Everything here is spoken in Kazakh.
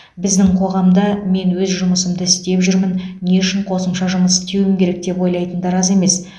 біздің қоғамда мен өз жұмысымды істеп жүрмін не үшін қосымша жұмыс істеуім керек деп ойлайтындар аз емес